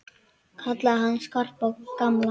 Kalla hann Skarpa og gamla!